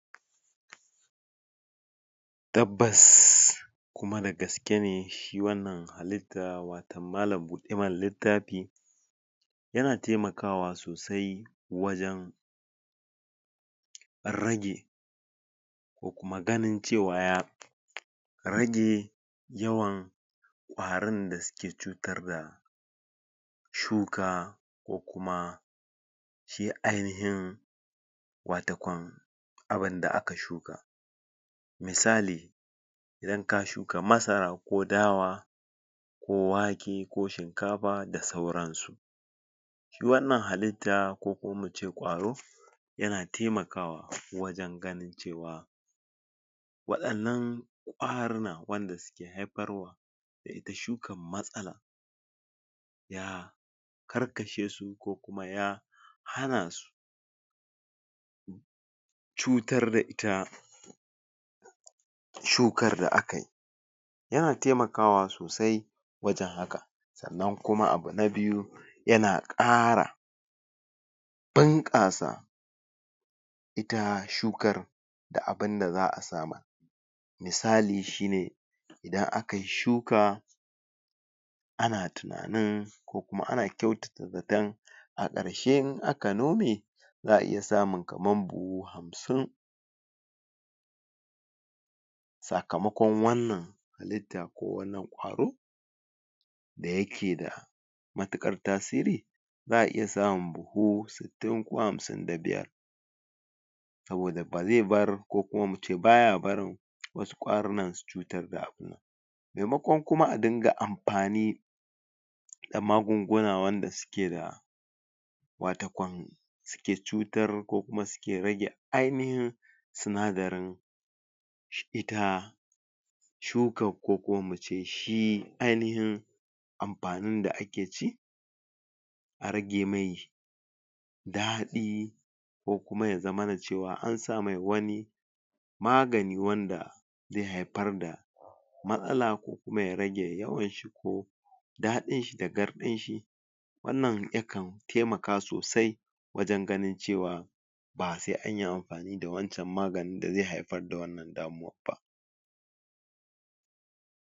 Tabbas kuma da gaske ne shi wannan halitta watau malam-buɗe-mana-littafi yana taimakawa sosai wajen rage ko kuma ganin cewa ya rage yawan ƙwarin suke cutar da ko kuma shi ainihin watakwan abin da aka shuka misali, idan ka shuka masara ko dawa wake ko shinkafa da sauransu shi wannan halitta ko kuma mu ce ƙwaro yana taimakawa wajen ganin cewa waɗannan ƙwarinan waɗanda suke haifar wa da ita shukar matsala ya karkashe su ko kuma ya hana su cutar da ita shukar da aka yi yana taimakwa sosai wajen haka. Sannan kuma abu na biyu yana ƙara bunƙasa ita shukar da abin da za a samar Misali shi ne, idan aka yi shuka ana tunanin ko kuma ana kyautata zaton a ƙarshe in aka nome za a iya samun kaman buhu hamsin sakamakon wannan halitta ko wannan ƙwaro da yake da matuƙar tasiri za a iya samun buhu sittin ko hamsin da biyar saboda ba zai bar ko kuma mu ce ba ya barin wasu ƙwarinan su cutar da abu maimakon kuma a dinga amfani da magunguna wanda suke da watakwan suke cutar ko kuma suke rage ainihin sinadarin ita shukar ko kuma mu ce shi ainihin amfanin da ake ci a rage mai daɗi ko kuma zamana cewa an sa mai wani magani wanda zai haifar da matsala ko kuma ya rage yawan shi ko daɗin shi da garɗin shi Wannan yakan taimaka sosai wajen ganin cewa ba sai an yi amfani da wancan maganin da zai haifar da wannan damuwar ba.